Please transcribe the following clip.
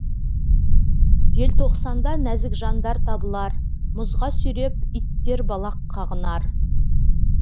желтоқсанда нәзік жандар табылар мұзға сүйреп иттер балақ қағынар